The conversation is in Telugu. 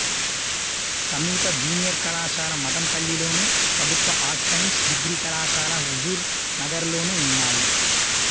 సమీప జూనియర్ కళాశాల మఠంపల్లిలోను ప్రభుత్వ ఆర్ట్స్ సైన్స్ డిగ్రీ కళాశాల హుజూర్ నగర్లోనూ ఉన్నాయి